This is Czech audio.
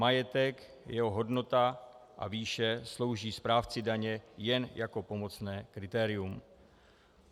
Majetek, jeho hodnota a výše slouží správci daně jen jako pomocné kritérium.